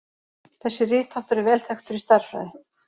Þessi ritháttur er vel þekktur í stærðfræði.